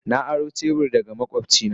Na aro shebur daga makwabcina.